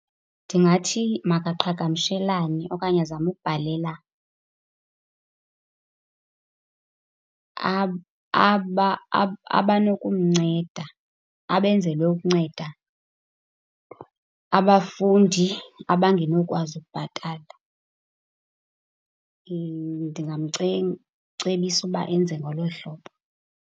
Ndingathi makaqhagamshelane okanye azame ukubhalela abanokumnceda, abenzelwe ukunceda abafundi abangenokwazi ukubhatala. cebisa uba enze ngolo hlobo.